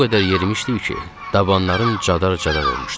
O qədər yerimişdik ki, dabanlarım cadar-cadar olmuşdu.